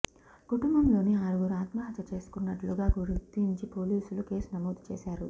కుటుంబంలోని ఆరుగురు ఆత్మహత్య చేసుకున్నట్లుగా గుర్తించి పోలీసులు కేసు నమోదు చేశారు